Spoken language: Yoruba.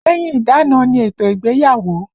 Lẹ́yìn ìdána ni ètò ìgbéyàwó